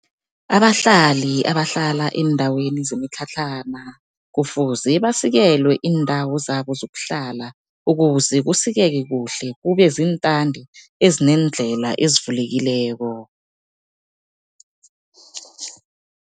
Abahlali abahlala eendaweni zemitlhatlhana, kufuze basikelwe iindawo zabo zokuhlala ukuze kusikeke kuhle, kube ziintandi ezineendlela ezivulekileko.